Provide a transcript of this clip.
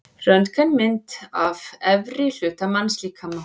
Röntgenmynd af efri hluta mannslíkama.